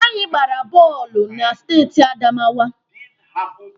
Anyị gbara bọọlụ na steeti Adamawa.